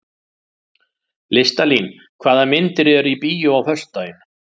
Listalín, hvaða myndir eru í bíó á föstudaginn?